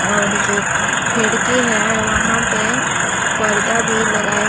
और जो खिड़की है वहां पे पर्दा भी लगाया--